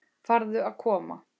Farðu að koma.